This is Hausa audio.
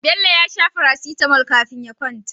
Bello ya sha Paracetamol kafin ya kwanta